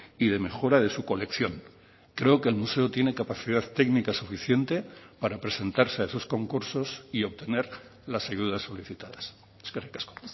y de mejora de su colección creo que el museo tiene capacidad técnica suficiente para presentarse a esos concursos y obtener las ayudas solicitadas eskerrik asko